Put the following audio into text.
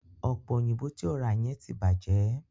Ọ̀pẹ̀ òyìnbò tí o rà yẹn ti bàjẹ́.